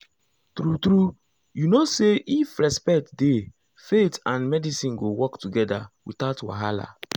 true true you know say if respect dey faith and medicine go work together without wahala.